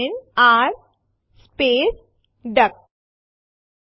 test dir directory બે ફાઈલો એબીસી1 અને એબીસી2 સમાવે છે